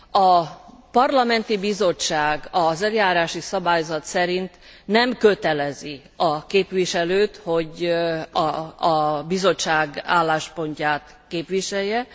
A parlamenti bizottság az eljárási szabályzat szerint nem kötelezi a képviselőt, hogy a bizottság álláspontját képviselje.